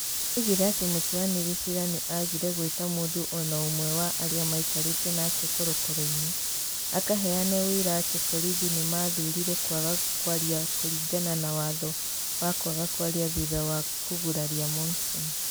Oigire atĩ mũtuanĩri ciira nĩ aagire gweta mũndũ o na ũmwe wa arĩa maikarĩte nake korokoro-inĩ akaheane ũira atĩ borithi nĩ maathurire kwaga kwaria kũringana na watho wa kwaga kwaria thutha wa kũguraria Monson.